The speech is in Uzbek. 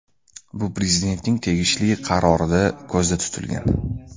Bu Prezidentning tegishli qarorida ko‘zda tutilgan .